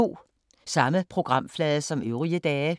Samme programflade som øvrige dage